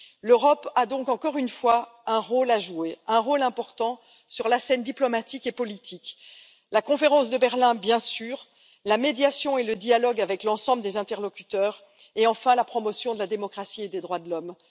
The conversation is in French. L'Europe a donc encore une fois un rôle à jouer, un rôle important sur la scène diplomatique et politique la conférence de Berlin, bien sûr, la médiation et le dialogue avec l'ensemble des interlocuteurs et enfin la promotion de la démocratie et des droits de l'homme.